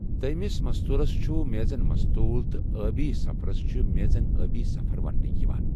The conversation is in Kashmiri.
دیمِس مستولس چھُ میزن مستول تہٕ ٲبی سَفَرس چھُ میزن ٲبی سَفَر وننہٕ یِوان۔